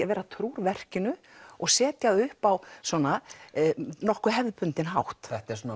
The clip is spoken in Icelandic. að vera trúr verkinu og setja það upp á nokkuð hefðbundinn hátt þetta er svona